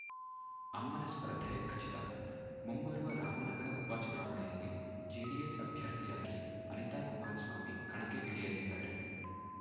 ಅಮ್ಮನ ಸ್ಪರ್ಧೆ ಖಚಿತ ಮುಂಬರುವ ರಾಮನಗರ ಉಪಚುನಾವಣೆಯಲ್ಲಿ ಜೆಡಿಎಸ್‌ ಅಭ್ಯರ್ಥಿಯಾಗಿ ಅನಿತಾ ಕುಮಾರಸ್ವಾಮಿ ಕಣಕ್ಕೆ ಇಳಿಯಲಿದ್ದಾರೆ